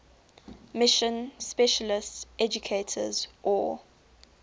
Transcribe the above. mission specialist educators or